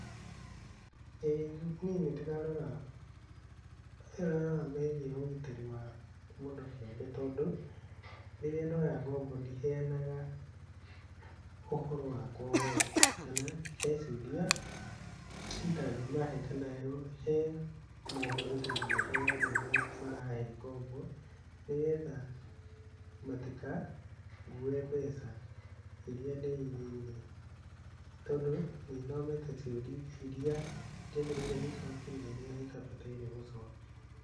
ĩĩ niĩ nĩ ndĩrarora, ndĩrarora megiĩ ũgitĩri wa mũndũ kĩũmbe tondũ, rĩrĩa ndoya ngombo ndiheyanaga ũhoro wakwa wothe. Kana he ciũria itangĩ mahe kana he mohoro itangĩhe andũ arĩa marahe ngombo. Nĩ getha matikangue mbeca iria ndĩigĩire tondũ nĩ thomete ciũria iria njagĩrĩirwo nĩ gũcokia na iria itabataire gũcokia.